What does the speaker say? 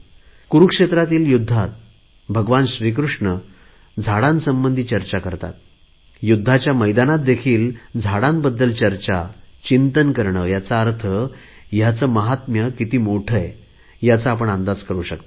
कुरुक्षेत्रातील युद्धात भगवान श्रीकृष्ण वृक्षासंबंधी चर्चा करतात युद्धाच्या मैदानात देखील झाडांबद्दल चर्चा चिंतन करणे याचा अर्थ ह्याचे महात्म्य किती मोठे आहे ह्याचा आपण अंदाज करु शकता